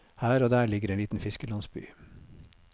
Her og der ligger en liten fiskerlandsby.